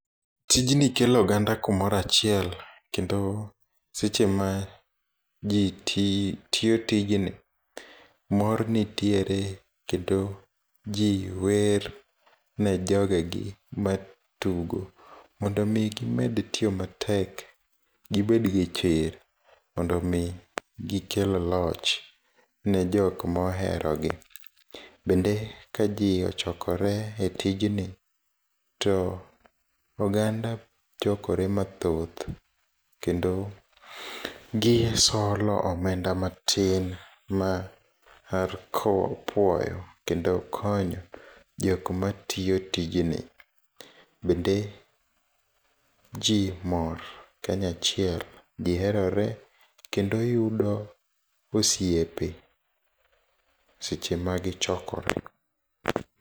Tijni kelo oganda kumoroachiel, kendo seche ma jii tiyo tijni, mor nitiere kendo jii wer ne jogegi ma tugo, mondo omii gimed tiyo matek, gibed gi chir, mondo omii gikel loch ne jokma oherogi. Bende ka jii ochokore e tijni to oganda chokore mathoth kendo gisolo omedna matin mar kowo, puoyo kendo konyo jokma tiyo tijni, bende jii mor kanyo achiel, giherore kendo yudo osiepe seche ma gichokore.